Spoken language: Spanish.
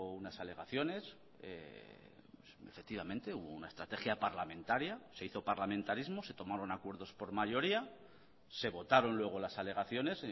unas alegaciones efectivamente hubo una estrategia parlamentaria se hizo parlamentarismo se tomaron acuerdos por mayoría se votaron luego las alegaciones